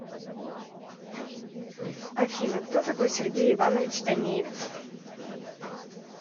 афина кто такой сергей иванович танеев